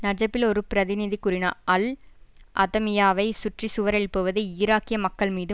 நஜப்பில் ஒரு பிரதிநிதி கூறினார் அல் அதமியாவை சுற்றி சுவர் எழுப்புவது ஈராக்கிய மக்கள்மீது